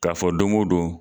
K'a fɔ don o don